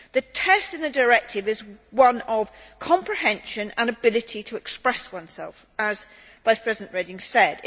The test in the directive is one of comprehension and ability to express oneself, as Vice President Reding said.